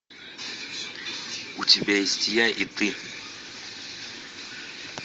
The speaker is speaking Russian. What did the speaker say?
у тебя есть я и ты